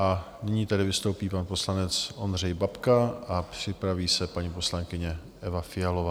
A nyní tedy vystoupí pan poslanec Ondřej Babka a připraví se paní poslankyně Eva Fialová.